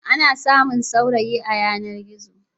Ana samun saurayi a yanar-gizo.